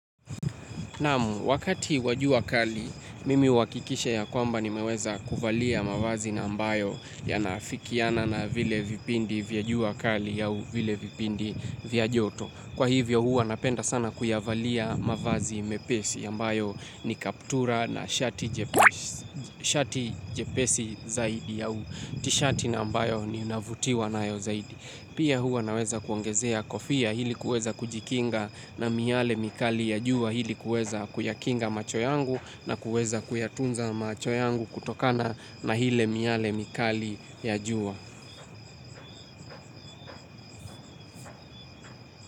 Namu, wakati wa jua kali, mimi huakikisha ya kwamba ni meweza kuvalia mavazi na ambayo ya naafikiana na vile vipindi vya jua kali ya uvile vipindi vya joto. Kwa hivyo huwa napenda sana kuyavalia mavazi mepesi ambayo ni kaptura na shati jepesi zaidi au. Tishati na ambayo ni unavutiwa na yo zaidi. Pia huwa naweza kuongezea kofia ili kuweza kujikinga na miale mikali ya juwa ili kuweza kuyakinga macho yangu na kuweza kuyatunza macho yangu kutokana na hile miale mikali ya juwa.